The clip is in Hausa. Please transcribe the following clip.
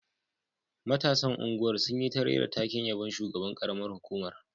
Matasan unguwar sun yi ta rera taken yabon shugaban karamar hukumar